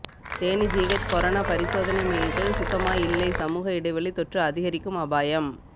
Theni GH corona பரிசோதனை மையத்தில் சுத்தமா இல்லை சமூக இடைவெளி தொற்று அதிகரிக்கும் அபாயம்